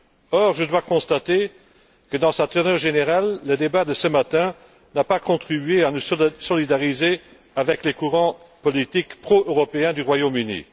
Or, je dois constater que, dans sa teneur générale, le débat de ce matin n'a pas contribué à nous solidariser avec les courants politiques pro européens du Royaume Uni.